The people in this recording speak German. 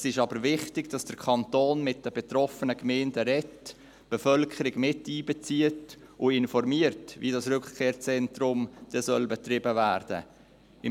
Es ist aber wichtig, dass der Kanton mit den betroffenen Gemeinden spricht, die Bevölkerung miteinbezieht und informiert, wie das Rückkehrzentrum betrieben werden soll.